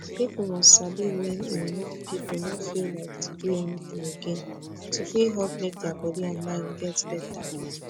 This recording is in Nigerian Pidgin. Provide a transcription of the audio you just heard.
people must sabi wen e no people no feel like to do anything again to fit help make dia body and mind get better